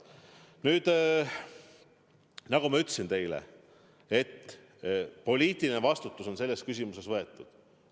Nüüd, nagu ma ütlesin teile: poliitiline vastutus selles küsimuses on võetud.